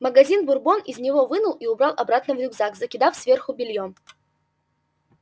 магазин бурбон из него вынул и убрал обратно в рюкзак закидав сверху бельём